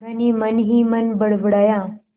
धनी मनहीमन बड़बड़ाया